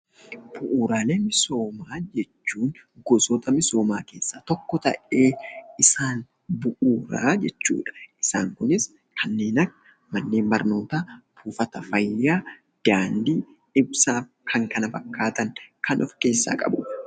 Bu'uuraalee misoomaa jechuun gosoota misoomaa keessaa tokko ta'ee isaan bu'uuraa jechuudha. Isaan kunis kanneen akka manneen barnootaa, buufata fayyaa, daandii, ibsaa kan kana fakkaatan kan of keessaa qabudha.